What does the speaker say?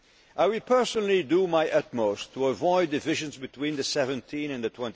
of trust. I will personally do my utmost to avoid divisions between the 17